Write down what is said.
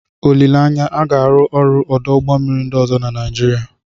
Olileanya, a ga-arụ ọrụ ọdụ ụgbọ mmiri ndị ọzọ na Nigeria.